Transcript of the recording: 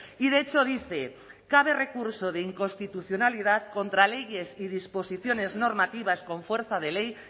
y de hecho dice cabe recurso de inconstitucionalidad contra leyes y disposiciones normativas con fuerza de ley